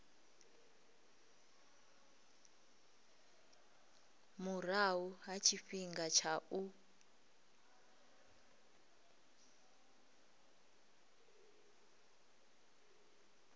murahu ha tshifhinga tsha u